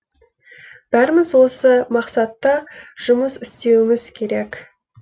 бәріміз осы мақсатта жұмыс істеуіміз керек